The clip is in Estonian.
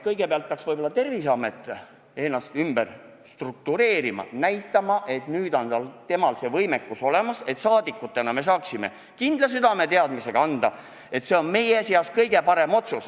Võib-olla peaks kõigepealt Terviseamet ennast ümber struktureerima ja näitama, et nüüd on tal see võimekus olemas, et saaksime rahvasaadikutena anda selle ülesande neile kindla teadmisega, et see on meie kõige parem otsus.